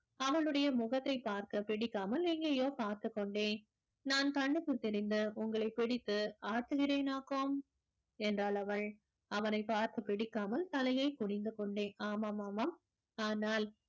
அவளுடைய முகத்தைப் பார்க்க பிடிக்காமல் எங்கேயோ பார்த்துக் கொண்டேன் நான் கண்ணுக்குத் தெரிந்த உங்களைப் பிடித்து ஆட்டுகிறேனாக்கும் என்றாள் அவள் அவனைப் பார்த்து பிடிக்காமல் தலையைக் குனிந்து கொண்டே ஆமாம் ஆமாம் ஆனால்